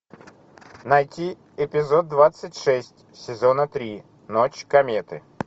найти эпизод двадцать шесть сезона три ночь кометы